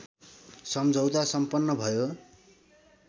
सम्झौता सम्पन्न भयो